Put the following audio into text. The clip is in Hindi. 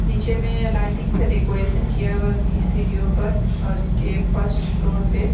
नीचे में लाइटिंग से डेकोरेशन किया हुआ है उसकी सीढ़ियों पर और उसके फर्स्ट फ्लोर पे ----